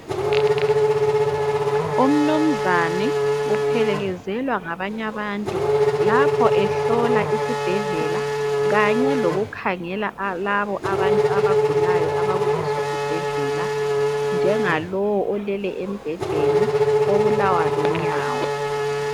Umnunzane uphelekezelwa ngabanye abantu lapho ehlola isibhedlela kanye lokukhangela labo abantu abagulayo abakuleso sibhedlela njengalowu olele embhedeni obulawa lunyawo.